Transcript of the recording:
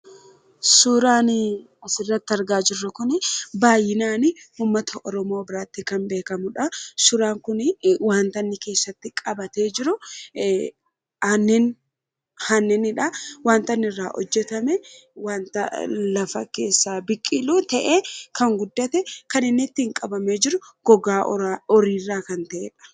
Suuraan asirratti argaa jirru kun baay'inaan uummata oromoo biratti kan beekamudha. Suuraan kun wanta inni keessatti qabatee jiru aannanidha. Wanta inni irraa hojjatame wanta lafa keessaa biqilu ta'ee kan guddate kan inni ittiin qabamee jiru gogaa horiirraa kan ta'edha.